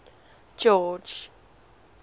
george